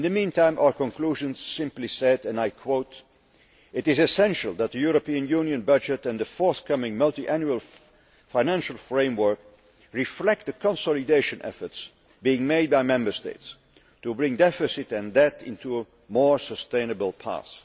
In the meantime, our conclusions simply said, and I quote, It is essential that the European Union budget and the forthcoming Multiannual Financial Framework reflect the consolidation efforts being made by Member States to bring deficit and debt into a more sustainable path.